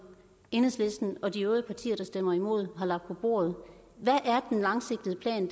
enhedslisten og de øvrige partier der stemmer imod har lagt på bordet hvad er den langsigtede plan